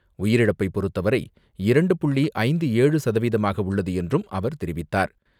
உயிரிழப்பை பொறுத்தவரை இரண்டு புள்ளி ஐந்து ஏழு சதவீதமாக உள்ளது என்றும் அவர் தெரிவித்தார்.